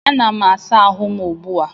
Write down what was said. Anam asa ahụ m ugbu a